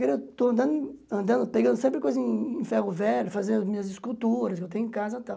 eu estou andando, andando pegando sempre coisa em ferro velho, fazendo minhas esculturas que eu tenho em casa e tal.